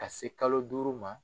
Ka se kalo duuru ma